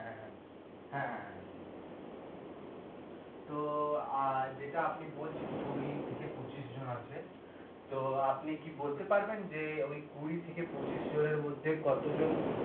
হ্যাঁ, তো অ্যাঁ যেটা আপনি বলছেন কুঁড়ি থেকে পঁচিশ জন আছে তো আপনি কি বলতে পারবেন যে ঐ কুঁড়ি থেকে পঁচিশ জনের মধ্যে কত জন